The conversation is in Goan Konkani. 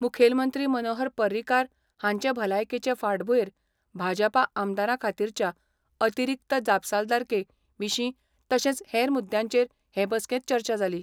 मुखेलमंत्री मनोहर पर्रीकार हांचे भलायकेचे फाटभुंयेर भाजपा आमदारां खातीरच्या अतिरिक्त जापसालदारके विशीं तशेंच हेर मुद्यांचेर हे बसकेंत चर्चा जाली.